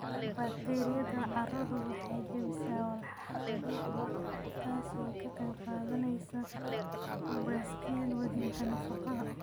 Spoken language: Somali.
Bakteeriyada carradu waxay jebisaa walxaha dabiiciga ah, taasoo ka qayb qaadanaysa baaskiil wadida nafaqada.